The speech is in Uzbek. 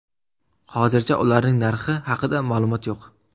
Hozircha ularning narxi haqida ma’lumot yo‘q.